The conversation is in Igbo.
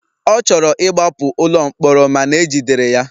Ọ chọrọ ịgbapụ n'ụlọ mkpọrọ mana ejidere ya.